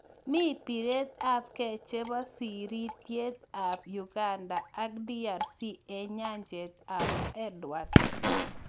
mi biret ab keey chebo sirityeet ab Uganda ak DRC eng nyanjet ab Edward